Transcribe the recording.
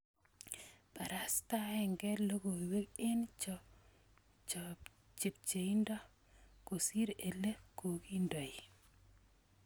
BarastaKe logoiweek en chebhebindo kosir ele kong�doi